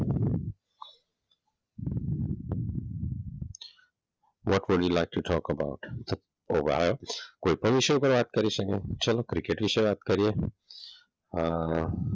what would you like to talk about કોઈપણ વિષય પર વાત કરી શકીએ. ચલો ક્રિકેટ વિશે વાત કરીએ. અમ